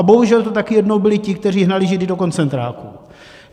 A bohužel to taky jednou byli ti, kteří hnali Židy do koncentráku.